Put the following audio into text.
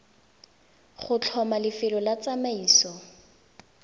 go tlhoma lefelo la tsamaiso